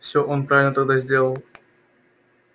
все он правильно тогда сделал